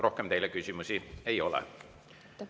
Rohkem teile küsimusi ei ole.